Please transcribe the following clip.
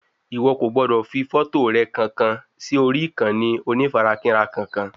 Ìwo kò gbọdọ̀ fi fọ́tò rẹ kankan sí orí ìkànnì onífarakínra kankan